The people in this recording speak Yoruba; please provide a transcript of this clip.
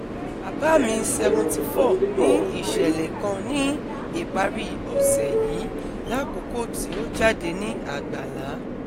Baba mi 74 ni iṣẹlẹ kan ni ipari ose yii lakoko ti o jade ni àgbàlá